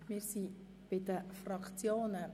Wir kommen nun zu den Fraktionen.